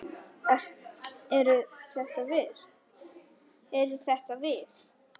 Eru þetta við?